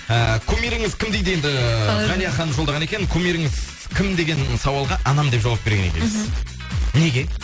ііі кумиріңіз кім дейді енді ғалия ханым жолдаған екен кумиріңіз кім деген сауалға анам деп жауап берген екенсіз мхм неге